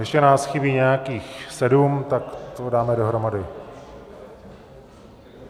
Ještě nás chybí nějakých sedm, tak to dáme dohromady.